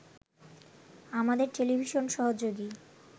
আমাদের টেলিভিশন সহযোগী